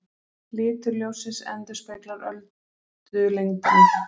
Litur ljóssins endurspeglar öldulengdina.